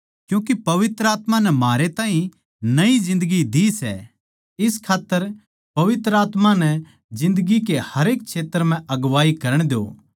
क्यूँके पवित्र आत्मा नै म्हारे ताहीं नई जिन्दगी दी सै इस खात्तर पवित्र आत्मा नै जिन्दगी के हरेक क्षेत्र म्ह अगुवाई करण द्यो